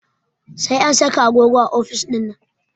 Sai an saka agogo a ofis ɗinnan